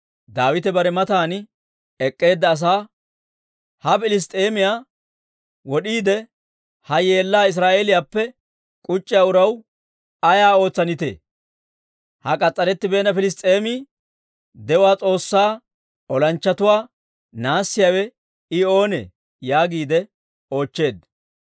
Daawite bare matan ek'k'eedda asaa, «Ha Piliss's'eemiyaa wod'iide, ha yeellaa Israa'eeliyaappe k'uc'c'iyaa uraw ayay oosettanee? Ha k'as's'arettibeenna Piliss's'eemi, de'uwaa S'oossaa olanchchatuwaa naassiyaawe I oonee?» yaagiide oochcheedda.